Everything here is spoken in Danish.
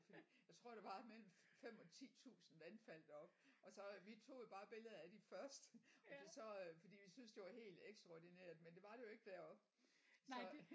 Fordi jeg tror der var mellem 5 og 10 tusind vandfald deroppe og så vi tog jo bare billeder af de første og så fordi vi synes det var helt ekstraordinært men det var det jo ikke deroppe så